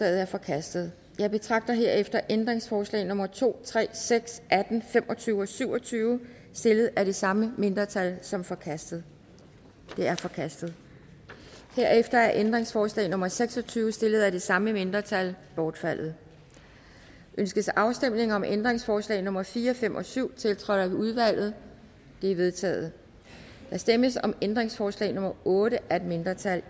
er forkastet jeg betragter herefter er ændringsforslag nummer to tre seks atten fem og tyve og syv og tyve stillet af det samme mindretal som forkastet de er forkastet herefter er ændringsforslag nummer seks og tyve stillet af det samme mindretal bortfaldet ønskes afstemning om ændringsforslag nummer fire fem og syv tiltrådt af udvalget de er vedtaget der stemmes om ændringsforslag nummer otte af et mindretal